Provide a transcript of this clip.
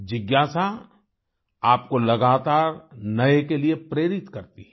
जिज्ञासा आपको लगातार नए के लिए प्रेरित करती है